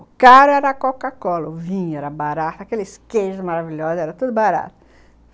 O caro era a Coca-Cola, o vinho era barato, aqueles queijos maravilhosos, era tudo barato.